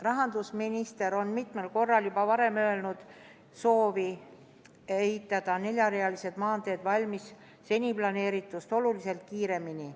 Rahandusminister on mitmel korral juba varem avaldanud soovi ehitada neljarealised maanteed valmis planeeritust oluliselt kiiremini.